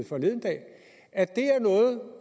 forleden dag